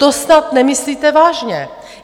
To snad nemyslíte vážně!